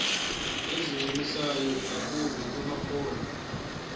ezingancumisiyo ingakumbi kumaphondo